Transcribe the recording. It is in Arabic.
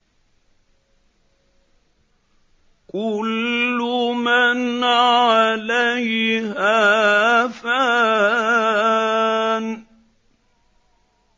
كُلُّ مَنْ عَلَيْهَا فَانٍ